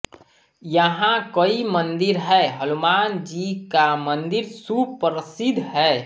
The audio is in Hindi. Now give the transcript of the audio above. यहाँ कई मंदिर है हनुमान जी का मंदिर सुप्रशिद्ध है